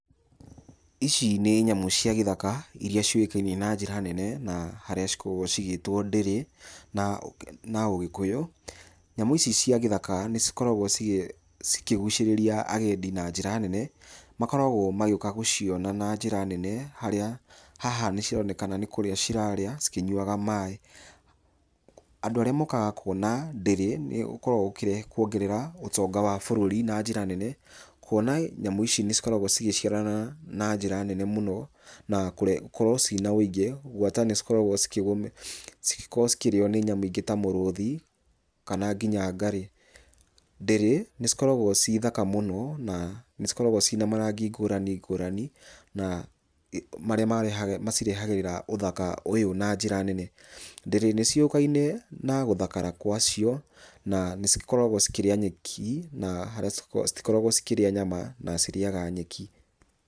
Ici nĩ nyamũ cia gĩthaka ,iria ciũĩkaine na njĩra nene ,na harĩa cikoragwo cigĩtwo ndĩrĩ na ũgĩkũyũ. Nyamũ ici cia gĩthaka nĩ cikoragwo ikĩgucĩrĩria agendi na njĩra nene, makoragwo magĩũka gũciona na njĩra nene, harĩa haha nĩ cironekana nĩ kũrĩa cirarĩa ,cikĩnyuaga maĩ, andũ arĩa mokaga kuona ndĩrĩ, nĩ gũkoragwo gũkĩrehe kuongerera ũtonga wa bũrũri na njĩra nene, kuona nyamũ ici nĩcikoragwo cigĩciarana na njĩra nene muno, na gukorwo cirĩ na ũingi. Gwata nĩcikoragwo cikĩgũmĩ cikĩrĩo nĩ mĩrũthĩ ,kana nginya ngarĩ. Ndĩrĩ nĩ cikoragwo cirĩ thaka mũno, na nĩcikoragwo cirĩ na Marangi ngũrani ngũrani ,marĩa macirehagĩra ũthaka ũyũ na njira nene. Ndĩrĩ nĩciũĩkaĩne na gũthakara gwacio ,na nĩcikoragwo ĩkĩrĩa nyeki na citikoragwo ikĩrĩa nyama cirĩaga nyeki.